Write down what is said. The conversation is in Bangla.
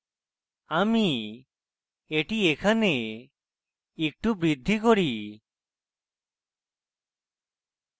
আমি এটি এখানে একটু বৃদ্ধি করি